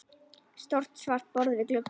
Stórt svart borð við glugga.